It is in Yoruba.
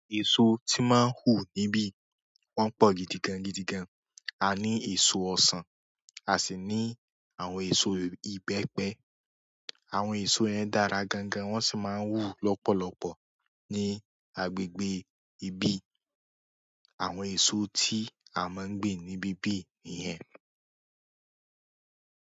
Iṣu ti n máa wù ní bi wọn pọ gidi gan gidi gan. A ní èso ọsan, a sì ní àwọn èso ìbẹ́pẹ. Àwọn èso yẹn dára gan gan, wọ́n sì máa ń wù lọ́pọ̀lọpọ̀ ní agbègbè ibi. Àwọn èso tí a máa gbìn ni bíbí nìyẹn.